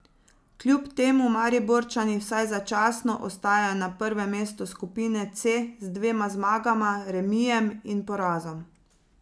Kljub temu Mariborčani vsaj začasno ostajajo na prvem mestu skupine C z dvema zmagama, remijem in porazom.